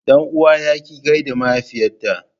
Dan uwa ya ki gaida mahaifiyata.